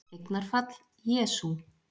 Eignarfall: Jesú